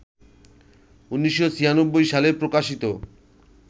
১৯৯৬ সালে প্রকাশিত